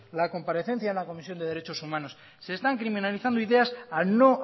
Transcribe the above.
la comparecencia en la comisión de derechos humanos se están criminalizando ideas al no